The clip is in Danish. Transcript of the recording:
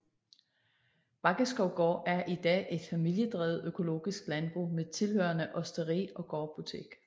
Baggeskov Gård er i dag et familiedrevet økologisk landbrug med tilhørende osteri og gårdbutik